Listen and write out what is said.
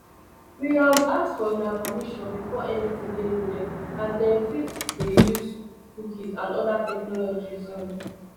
we um ask for una permission before anytin dey loaded as dem fit dey use cookies and oda technologies um